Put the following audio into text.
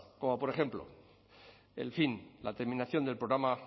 como por ejemplo el fin la terminación del programa